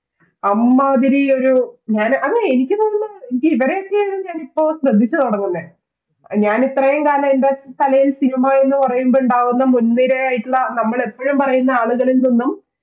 അമ്മാതിരി ഒരു ഞാന് അത് എനിക്ക് തോന്നുന്നത് എനിക്ക് ഇവരെയൊക്കെ ഞാൻ ഇപ്പോശ്രദ്ധിച്ചു തുടങ്ങുന്നെ ഞാൻ ഇത്രയും കാലം എന്റെ കലയിൽ cinema എന്നു പറയുമ്പോൾ ഉണ്ടാവുന്ന മുൻനിരയിൽ ഉള്ള നമ്മൾ എപ്പോഴും പറയുന്ന ആളുകളിൽ നിന്നും